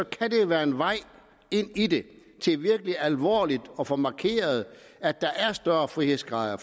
kan det jo være en vej ind i det til virkelig alvorligt at få markeret at der er større frihedsgrader